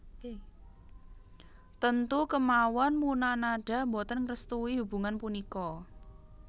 Tentu kemawon Munanada boten ngrestui hubungan punika